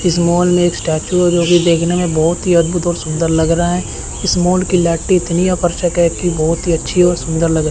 इस मॉल में एक स्टैचू है जोकि देखने में बहोत ही अद्भुत और सुंदर लग रहा है इस मॉल की लाइटिंग इतनी की बहोत ही अच्छी और सुंदर लग --